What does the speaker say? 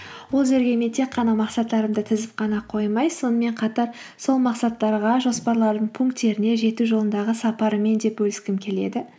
ол жерге мен тек қана мақсаттарымды тізіп қана қоймай сонымен қатар сол мақсаттарға жоспарлардың пунктеріне жету жолындағы сапарымен де бөліскім келеді